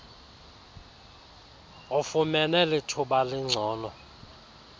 ufumene lithuba elingcono